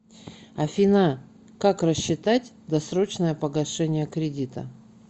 афина как рассчитать досрочное погашение кредита